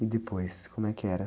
E depois, como é que era?